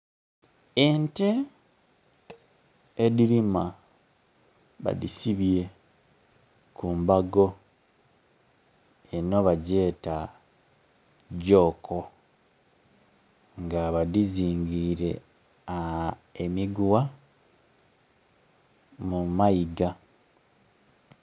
Ente edhirima badisibye ku mbago , eno ba gyeta jooko nga badhizingire aaa emiguwa mu maiga.